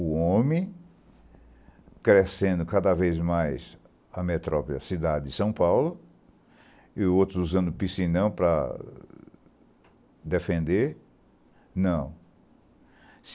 O homem crescendo cada vez mais a metrópole, a cidade de São Paulo, e outros usando piscinão para defender, não.